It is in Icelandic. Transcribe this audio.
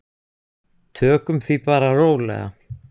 Tökum því bara rólega.